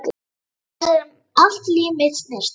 Hans sem allt líf mitt snerist um.